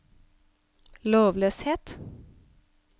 lovløshet